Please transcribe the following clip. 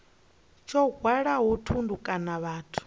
tsho hwalaho thundu kana vhathu